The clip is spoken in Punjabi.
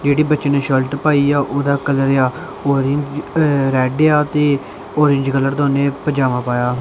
ਜਿਹੜੇ ਬੱਚੇ ਨੇ ਸ਼ਰਟ ਪਾਈ ਆ ਉਹਦਾ ਕਲਰ ਆ ਔਰੇਂਜ ਰੈਡ ਆ ਤੇ ਔਰੇਂਜ ਕਲਰ ਦਾ ਪਜਾਮਾ ਪਾਇਆ।